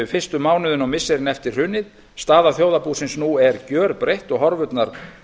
fyrstu mánuðina og missirin eftir hrunið staða þjóðarbúsins nú er gjörbreytt og horfurnar